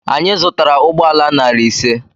Anyị zụtara ụgbọala narị ise.